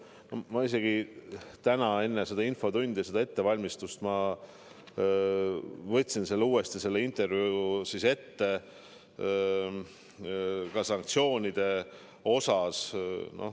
Ma võtsin isegi täna seda infotundi ette valmistades uuesti selle intervjuu ette ja vaatasin ka sanktsioonide osa.